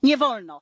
nie wolno